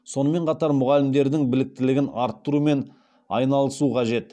сонымен қатар мұғалімдердің біліктілігін арттырумен айналысу қажет